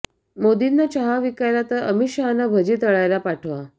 मोदींना चहा विकायला तर अमीत शहांना भजी तळायला पाठवा